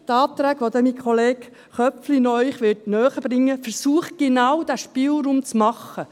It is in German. Die Anträge, welche Ihnen mein Kollege Köpfli noch näherbringen wird, versuchen genau diesen Spielraum zu bieten.